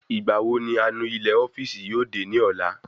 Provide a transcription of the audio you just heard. Ìgbà wo ni anu ilé ofíìsì yóò dé ni ọ̀la?